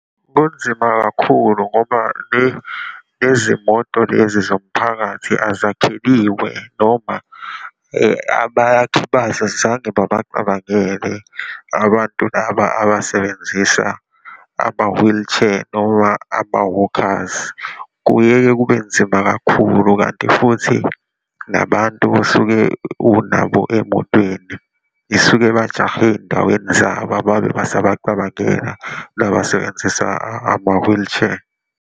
Kunzima kakhulu ngoba le lezi moto lezi zomphakathi azakheliwe noma abakhi bazo azange bacabangele abantu laba abasebenzisa ama-wheelchair noma ama-walkers. Kuyeye kube nzima kakhulu kanti futhi nabantu osuke unabo emotweni isuke bajahe eyindaweni zabo, ababe basabacabangela laba abasebenzisa ama-wheelchair.